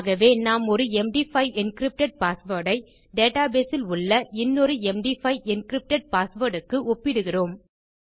ஆகவே நாம் ஒரு எம்டி5 என்கிரிப்டட் பாஸ்வேர்ட் ஐ databaseஇல் உள்ள இன்னொரு எம்டி5 என்கிரிப்டட் பாஸ்வேர்ட் க்கு ஒப்பிடுகிறோம்